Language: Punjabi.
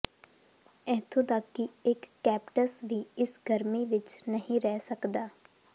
ਇੱਥੋਂ ਤੱਕ ਕਿ ਇੱਕ ਕੈਪਟਸ ਵੀ ਇਸ ਗਰਮੀ ਵਿੱਚ ਨਹੀਂ ਰਹਿ ਸਕਦਾ